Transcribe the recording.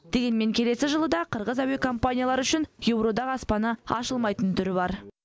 дегенмен келесі жылы да қырғыз әуекомпаниялары үшін еуроодақ аспаны ашылмайтын түрі бар